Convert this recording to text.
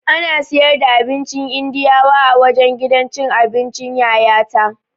Ana siyar da abincin Indiyawa a wajen gidan cin abincin Yayata